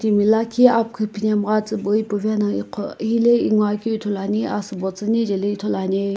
timi lakhi amkhu phinemgha tsiibui puvae no igho helae inguo akeu ithulu ane asiibo tsiinae jaeli ithulu ane.